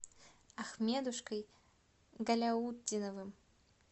ахмедушкой галяутдиновым